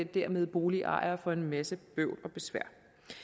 dermed boligejere for en masse bøvl og besvær